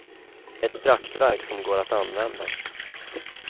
Ett praktverk som går att använda.